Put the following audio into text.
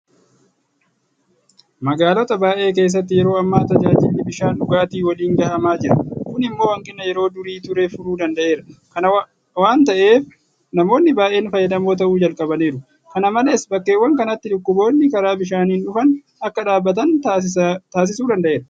Magaalota baay'ee keessatti yeroo ammaa tajaajilli bishaan dhugaatii waliin gahamaa jira. Kun immoo hanqina yeroo durii ture furuu danda'eera. Kana waanta ta'eef namoonni baay'een fayyadamoo ta'uu jalqabaniiru. Kana malees bakkeewwan kanatti dhukkuboonni karaa bishaanii dhufan akka dhaabatan taasisuu danda'eera.